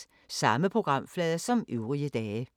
Samme programflade som øvrige dage